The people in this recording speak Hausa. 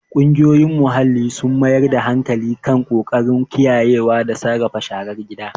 Ƙungiyoyin muhalli sun mayar da hankali kan ƙoƙarin kiyayewa da sarrafa sharar gida.